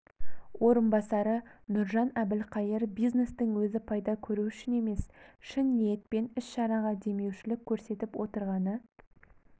орынбасары нұржан әбілқайыр бизнестің өзі пайда көру үшін емес шын ниетпен іс-шараға деумеушілік көрсетіп отырғаны